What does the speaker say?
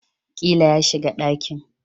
Ƙila ya shiga dakin